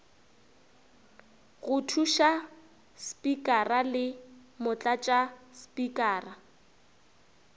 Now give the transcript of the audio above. go thuša spikara le motlatšaspikara